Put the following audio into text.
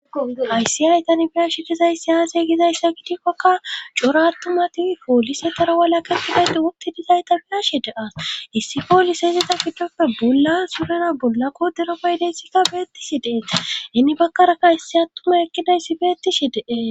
Aysi aytani fiyashi gizayssi aasiye gizayssa gidikkakka cora attuma tiwi poolise tara walaketidayte wottidizayta piyashi deas issi pooliseeizeta ficdoppe bolla surera bollakko deropaydeysika beettishi deena inni bakkaraka issi attuma ekkidayssi beettishi deee